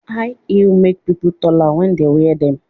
High heels make people taller when they wear them